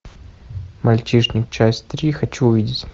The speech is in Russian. мальчишник часть три хочу увидеть